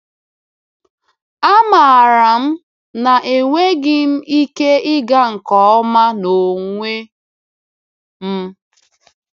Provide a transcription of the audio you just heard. Amaara m na enweghị m ike ịga nke ọma n’onwe m.